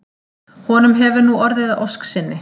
Honum hefur nú orðið að ósk sinni.